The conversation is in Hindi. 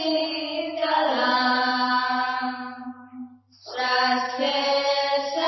सुजलां सुफलां मलयजशीतलाम्